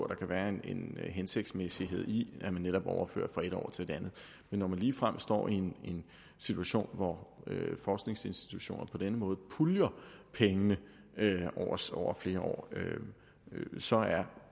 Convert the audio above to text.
der kan være en hensigtsmæssighed i at man netop overfører fra et år til et andet men når man ligefrem står i en situation hvor forskningsinstitutioner på denne måde puljer pengene over flere år så er